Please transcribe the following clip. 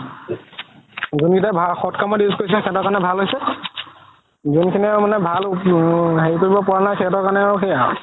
যোন কেইটাই সদ কামত use কৰিছে সিহতৰ কাৰণে ভালে হৈছে যোন খিনি মানে উম ভাল হেৰি কৰিব পাৰা নাই সেহেতৰ কাৰণে সেইয়া আৰু